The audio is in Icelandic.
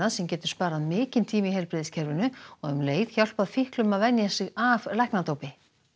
sem getur sparað mikinn tíma í heilbrigðiskerfinu og um leið hjálpað fíklum að venja sig af læknadópi